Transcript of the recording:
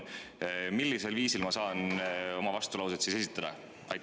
Millisel viisil ma saan oma vastulauset siis esitada?